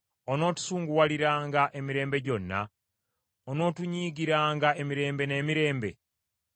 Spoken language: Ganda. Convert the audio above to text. Onootusunguwaliranga emirembe gyonna? Onootunyiigiranga emirembe n’emirembe?